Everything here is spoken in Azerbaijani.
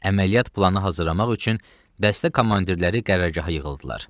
Əməliyyat planı hazırlamaq üçün dəstə komandirləri qərargahda yığıldılar.